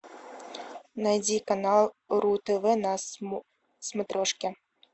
найди канал ру тв на смотрешке